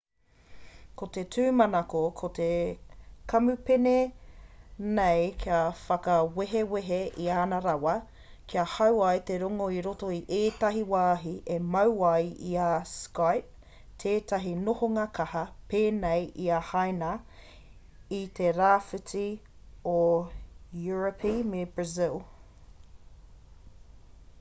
ko te tūmanako o te kamupene nei kia whakawehwehe i ana rawa ka hau ai te rongo i roto i ētahi wāhi e mau ai i a skype tētahi nohoanga kaha pēnei i a haina i te rāwhiti o europi me brazil